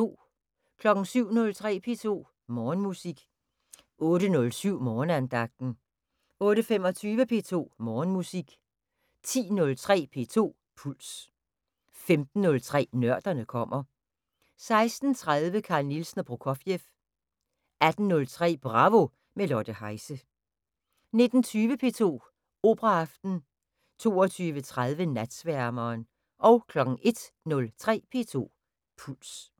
07:03: P2 Morgenmusik 08:07: Morgenandagten 08:25: P2 Morgenmusik 10:03: P2 Puls 15:03: Nørderne kommer 16:30: Carl Nielsen og Prokofjev 18:03: Bravo – med Lotte Heise 19:20: P2 Operaaften 22:30: Natsværmeren 01:03: P2 Puls